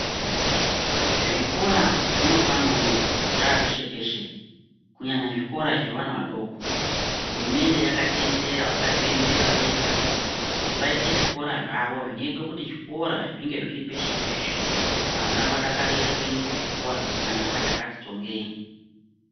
Zvikora zvinopano zvaapeshe peshe kunyanya zvevana vadoko, hurumende yakatendera vakazviemerera vega kuti vaite zvikora zvavo zvinoita kuti zvikora zvinge zviri peshe peshe vana vadakarire kuenda kuchikora kunyanya vachakati tsongei.